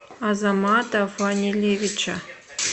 азамата фанилевича